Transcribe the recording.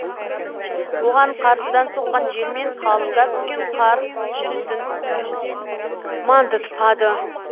оған қарсыдан соққан жел мен қалыңдап түскен қар жүрісін мандытпады